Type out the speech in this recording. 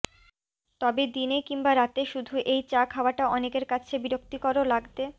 তবে দিনে কিংবা রাতে শুধু এই চা খাওয়াটা অনেকের কাছে বিরক্তিকরও লাগতে